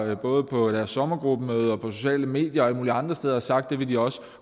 der både på deres sommergruppemøde og på sociale medier og alle mulige andre steder har sagt at det vil de også